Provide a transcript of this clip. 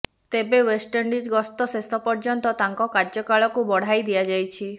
ତେବେ ୱେଷ୍ଟଇଣ୍ଡିଜ୍ ଗସ୍ତ ଶେଷ ପର୍ୟ୍ୟନ୍ତ ତାଙ୍କ କାର୍ୟ୍ୟକାଳକୁ ବଢ଼ାଇ ଦିଆଯାଇଛି